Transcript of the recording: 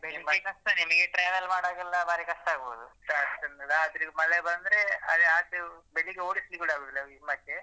ನಿಮ್ಗೆ ಕಷ್ಟ ನಿಮ್ಗೆ travel ಮಾಡುವಾಗೆಲ್ಲ ಬಾರಿ ಕಷ್ಟಾಗ್ಬಹುದು ಕಷ್ಟನೇ ರಾತ್ರಿ ಮಳೆ ಬಂದ್ರೆ ಅ ಆಚೆ ಬೆಳಿಗ್ಗೆ ಓಡಿಸ್ಲಿಕ್ಕೆ ಕೂಡ ಆಗುದಿಲ್ಲ ನಿಮ್ಮಾಚೆ.